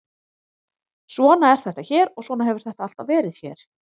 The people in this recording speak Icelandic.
Svona er þetta hér og svona hefur þetta alltaf verið hér.